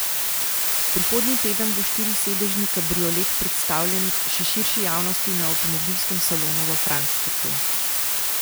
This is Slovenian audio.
Prihodnji teden bo štirisedežni kabriolet predstavljen še širši javnosti na avtomobilskem salonu v Frankfurtu.